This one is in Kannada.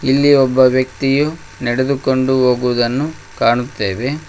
ಇಲ್ಲಿ ಒಬ್ಬ ವ್ಯಕ್ತಿಯು ನಡೆದುಕೊಂಡು ಹೋಗುವುದನ್ನು ಕಾಣುತ್ತೇವೆ.